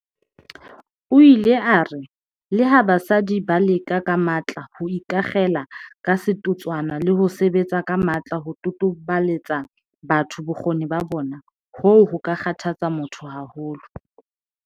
O ile a re, "Leha basadi ba leka ka matla ho ikakgela ka setotswana le ho sebetsa ka matla ho totobaletsa batho bokgoni ba bona, hoo ho ka kgathatsa motho haholo."